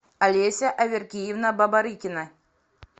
олеся аверкиевна бабарыкина